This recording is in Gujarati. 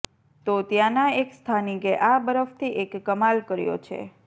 તો ત્યાંનાં એક સ્થાનિકે આ બરફથી એક કમાલ કર્યો છે